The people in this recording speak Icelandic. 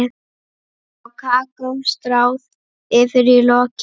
Kakó stráð yfir í lokin.